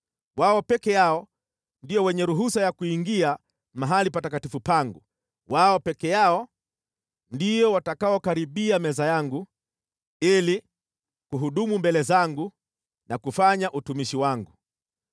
Wao peke yao ndio wenye ruhusa ya kuingia mahali patakatifu pangu. Wao peke yao ndio watakaokaribia meza yangu ili kuhudumu mbele zangu na kufanya utumishi wangu.